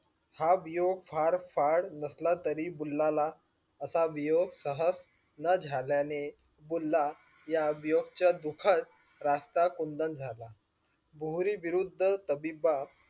हा वियोग फड फड नसला तरी बुल्ला ला अशी वियोग न झाला ने बुल्ला या विवियोग च्या दुखत रस्ता कुंदन झाला बोहरी विरुद्द तबी बिबाद